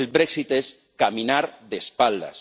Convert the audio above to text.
El brexit es caminar de espaldas.